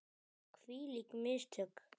Hvílík mistök!